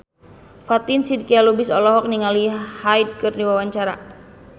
Fatin Shidqia Lubis olohok ningali Hyde keur diwawancara